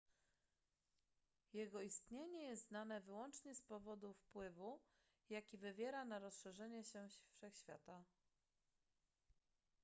jego istnienie jest znane wyłącznie z powodu wpływu jaki wywiera na rozszerzanie się wszechświata